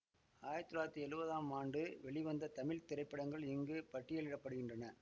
ஆயிரத்தி தொள்ளாயிரத்தி எழுவதாம் ஆண்டு வெளிவந்த தமிழ் திரைப்படங்கள் இங்கு பட்டியலிட படுகின்றன